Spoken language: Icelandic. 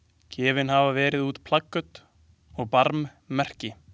Gefin hafa verið út plaköt og barmmerki.